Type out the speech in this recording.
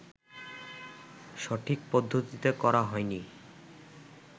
সঠিক পদ্ধতিতে করা হয় নি